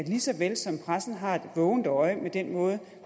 lige så vel som pressen har et vågent øje med den måde